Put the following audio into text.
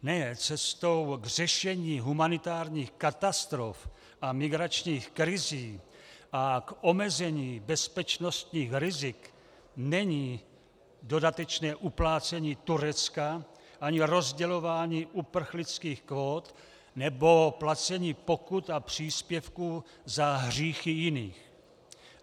Ne, cestou k řešení humanitárních katastrof a migračních krizí a k omezení bezpečnostních rizik není dodatečné uplácení Turecka ani rozdělování uprchlických kvót nebo placení pokut a příspěvků za hříchy jiných.